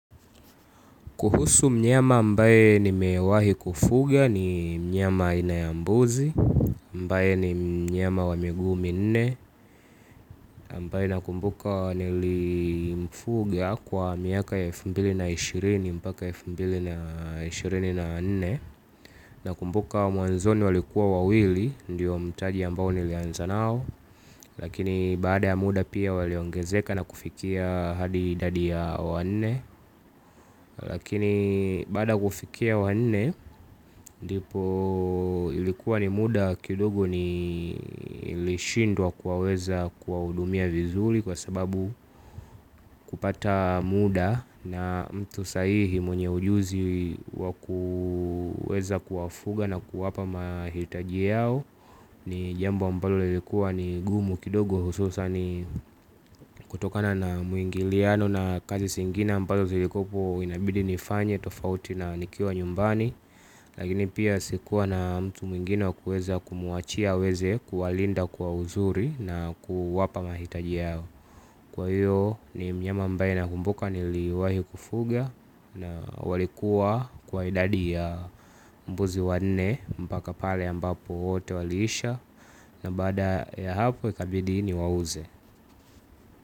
Kuhusu mnyama ambaye nimewahi kufuga ni mnyama aina ya mbuzi, ambaye ni mnyama wa miguu minne. Ambaye nakumbuka nilimfuga kwa miaka elfu mbili na ishirini mpaka elfu mbili na ishirini na nne. Nakumbuka mwanzoni walikuwa wawili, ndiyo mtaji ambao nilianza nao. Lakini baada ya muda pia waliongezeka na kufikia hadi idadi ya wanne. Lakini baada ya kufikia wanne ndipo ilikuwa ni muda kidogo nilishindwa kuwaweza kuwahudumia vizuri kwa sababu kupata muda na mtu sahihi mwenye ujuzi wa kuweza kuwafuga na kuwapa mahitaji yao. Ni jambo ambalo lilikuwa ni gumu kidogo hususan ni kutokana na mwingiliano na kazi zingine ambazo zilikuwa hapo inabidi nifanye tofauti na nikiwa nyumbani. Lakini pia sikuwa na mtu mwingine wa kuweza kumwachia aweze kuwalinda kwa uzuri na kuwapa mahitaji yao. Kwa hiyo ni mnyama ambaye nakumbuka niliwahi kufuga, na walikuwa kwa idadi ya mbuzi wanne mpaka pale ambapo wote waliisha, na baada ya hapo ikabidi niwauze.